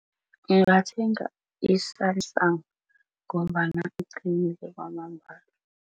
Ngingathenga i-Samsung ngombana iqinile kwamambala.